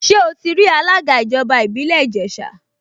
Ṣé ó ti rí alága ìjọba ìbílẹ̀ Ìjẹ̀ṣà?